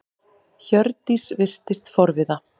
Hjördís virtist forviða.